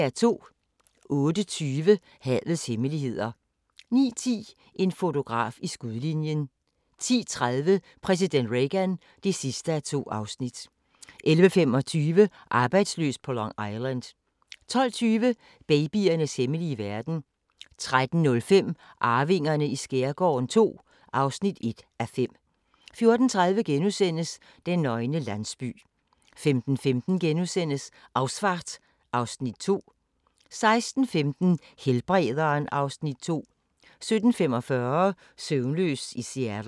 08:20: Havets hemmeligheder 09:10: En fotograf i skudlinjen 10:30: Præsident Reagan (2:2) 11:25: Arbejdsløs på Long Island 12:20: Babyernes hemmelige verden 13:05: Arvingerne i skærgården II (1:5) 14:30: Den nøgne landsby * 15:15: Ausfahrt (Afs. 2)* 16:15: Helbrederen (Afs. 2) 17:45: Søvnløs i Seattle